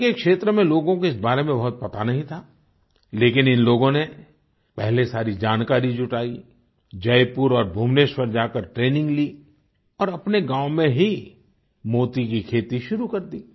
उनके क्षेत्र में लोगों को इस बारे में बहुत पता नहीं था लेकिन इन लोगों ने पहले सारी जानकारी जुटाई जयपुर और भुवनेश्वर जाकर ट्रेनिंग ली और अपने गाँव में ही मोती की खेती शुरू कर दी